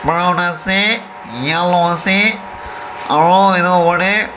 brown ase yellow ase aru etu upor teh--